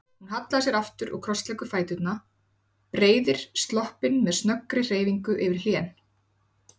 Hún hallar sér aftur og krossleggur fæturna, breiðir sloppinn með snöggri hreyfingu yfir hnén.